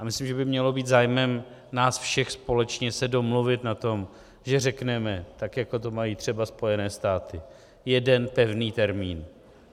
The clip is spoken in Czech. A myslím, že by mělo být zájmem nás všech společně se domluvit na tom, že řekneme, tak jako to mají třeba Spojené státy - jeden pevný termín.